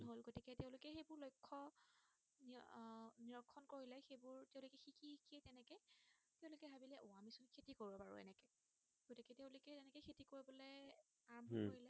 আৰাম্ভ কৰিলে উম